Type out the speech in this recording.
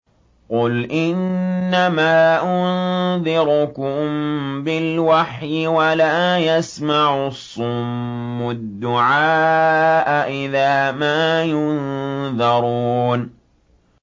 قُلْ إِنَّمَا أُنذِرُكُم بِالْوَحْيِ ۚ وَلَا يَسْمَعُ الصُّمُّ الدُّعَاءَ إِذَا مَا يُنذَرُونَ